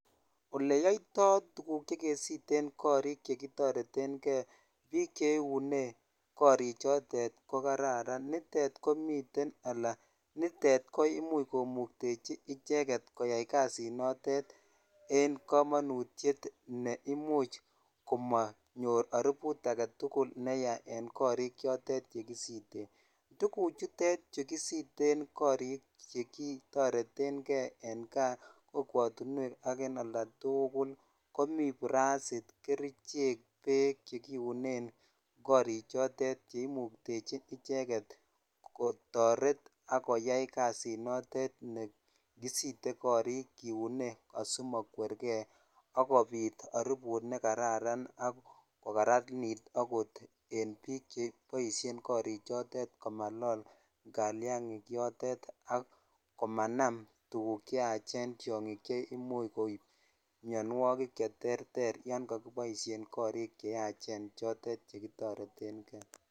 Ole yaitai tuguk che kesiiten korik che kitaretegei. Pik che iune korichotet ko kararan nitet komiten ala nitet ko imuch komugtechi icheget koyai kasinotet en kamanutiet ne imuch komanyor aruput age tugul ne ya eng' korichotet ye kisiite. Tuguchutech chu kisiiten korik che kitareten gei en ga ,kokwatunwek ak eng' olda tugul komi prasit, kerichek, pek che kiunen korichotet che imuktechin icheget ko taret ak koyai kasinotet ne kisite korik kiiune asimakwergei l akopit aruput ne kararan ak kokararanit akot en pik che poishen korichotet komalol kaliang'ik yotet ak komanam tuguk che yachen, tiang'ik che imuch mianwagik che terter yan kakipoishe korik che yachen chotet che kitarete gei.